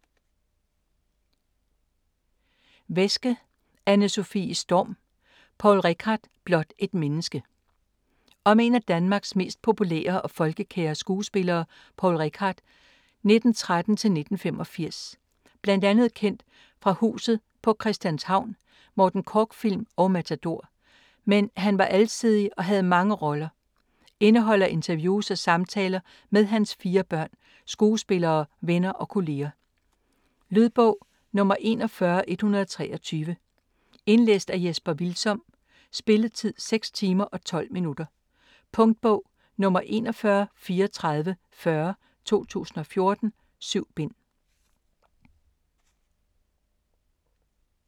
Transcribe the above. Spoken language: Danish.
Wesche, Anne-Sofie Storm: Poul Reichhardt: blot et menneske Om en af Danmarks mest populære og folkekære skuespillere, Poul Reichhardt (1913-1985). Bl.a. kendt for "Huset på Christianshavn", Morten Korch-film og "Matador", men han var alsidig og havde mange roller. Indeholder interviews og samtaler med hans 4 børn, skuespillere, venner og kolleger. Lydbog 41123 Indlæst af Jesper Hvilsom Spilletid: 6 timer, 12 minutter. Punktbog 413440 2014. 7 bind.